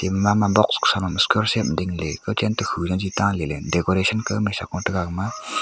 box sa low kawset ma ding ley kawchen ke to khu ja cheta le decoration kawmai sa goh tega agah ma.